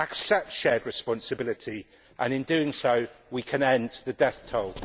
Accept shared responsibility and, in doing so, we can end the death toll.